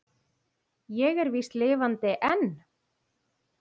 Ég er víst lifandi enn!